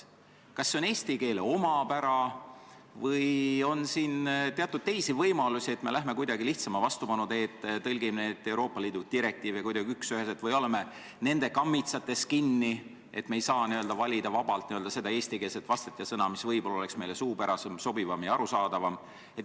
Kas see on eesti keele omapära või me läheme kuidagi lihtsama vastupanu teed, tõlgime neid Euroopa Liidu direktiive üksüheselt või oleme nende kammitsates kinni, nii et me ei saa valida vabalt eestikeelset vastet, eestikeelset sõna, mis oleks meile suupärasem, sobivam ja arusaadavam?